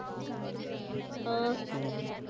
ਅਹ